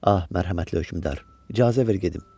Ah, mərhəmətli hökmdar, icazə ver gedim.